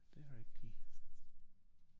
Det rigtigt